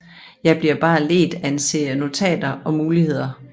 Jeg bliver bare ledt af en serie notater og muligheder